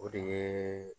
O de ye